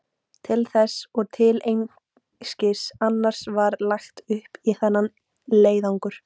Til þess og til einskis annars var lagt upp í þennan leiðangur.